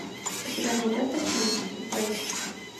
у тебя найдется фильм блэйд